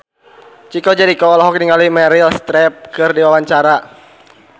Chico Jericho olohok ningali Meryl Streep keur diwawancara